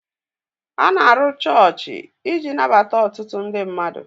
A na-arụ chọọchị iji nabata otụtụ ndị mmmadụ